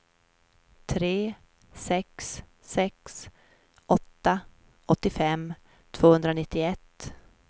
tre sex sex åtta åttiofem tvåhundranittioett